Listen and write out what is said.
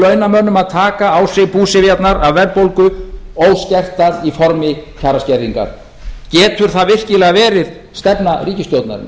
launamönnum að taka á sig búsifjarnar af verðbólgu óskertar í formi kjaraskerðingar getur það virkilega verið stefna ríkisstjórnarinnar